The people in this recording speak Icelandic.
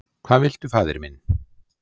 Hvað viltu faðir minn?